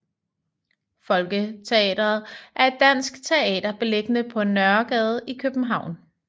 Folketeatret er et dansk teater beliggende på Nørregade i København